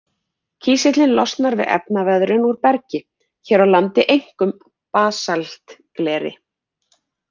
Kísillinn losnar við efnaveðrun úr bergi, hér á landi einkum basaltgleri.